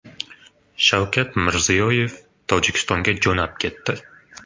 Shavkat Mirziyoyev Tojikistonga jo‘nab ketdi.